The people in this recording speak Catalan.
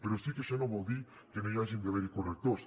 però sí que això no vol dir que no hi hagin d’haver correctors